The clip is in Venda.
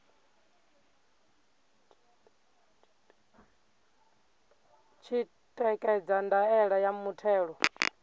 tshi ṋekedza ndaela ya muthelo